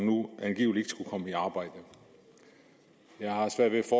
angiveligt skulle komme i arbejde jeg har svært ved at